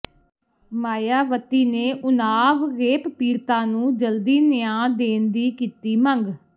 ਮਾਇਆਵਤੀ ਨੇ ਓਨਾਵ ਰੇਪ ਪੀੜਤਾ ਨੂੰ ਜਲਦੀ ਨਿਆਂ ਦੇਣ ਦੀ ਕੀਤੀ ਮੰਗ